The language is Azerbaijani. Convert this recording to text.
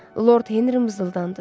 Lord Henri mızıldandı.